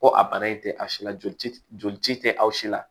Ko a bara in tɛ a si la joli tɛ joli ci tɛ aw si la